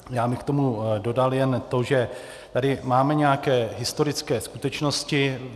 Já bych k tomu dodal jen to, že tady máme nějaké historické skutečnosti.